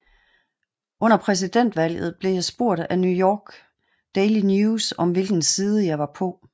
Under præsidentvalget blev jeg spurgt af New York Daily News om hvilken side jeg var på